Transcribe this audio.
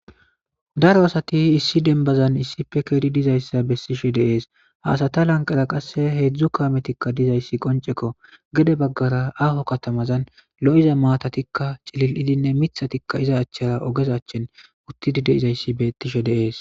daro asati issi denbazan issife keeri dizayssa bessishe deees haasata lanqara qasse heedzdzu kaametikka dizayssi qoncekko gede baggara aaho katamazan lo7iza maatatikka cilil7idinne mithatikka iza achchara ogezachchin uttidi de izayssi beettishe deees